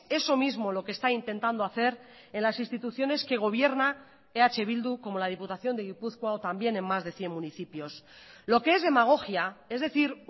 eso mismo lo que está intentando hacer en las instituciones que gobierna eh bildu como la diputación de gipuzkoa o también en más de cien municipios lo que es demagogia es decir